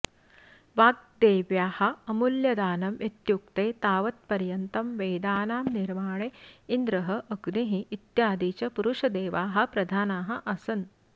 वाग्देव्याः अमूल्यदानम् इत्युक्ते तावत्पर्यन्तं वेदानां निर्माणे इन्द्रः अग्निः इत्यादि च पुरुषदेवाः प्रधानाः आसन्